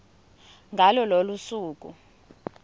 ngalo lolo suku